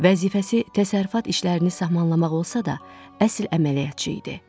Vəzifəsi təsərrüfat işlərini sammanlamaq olsa da, əsl əməliyyatçı idi.